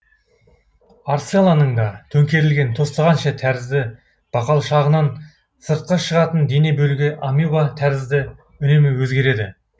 арцеланның да төңкерілген тостағанша тәрізді бақалшағынан сыртқа шығатын дене бөлігі амеба тәрізді үнемі өзегереді